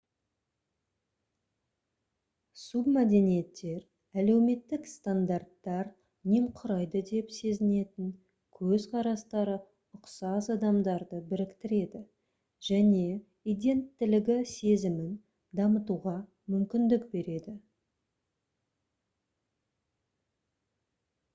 субмәдениеттер әлеуметтік стандарттар немқұрайды деп сезінетін көзқарастары ұқсас адамдарды біріктіреді және иденттілігі сезімін дамытуға мүмкіндік береді